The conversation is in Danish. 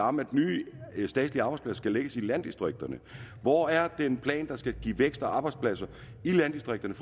om at nye statslige arbejdspladser skal lægges i landdistrikterne hvor er den plan der skal give vækst og arbejdspladser i landdistrikterne